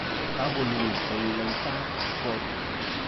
Kakolul toloitaab kot.